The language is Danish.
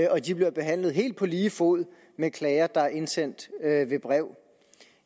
og de bliver behandlet helt på lige fod med klager der er indsendt ved brev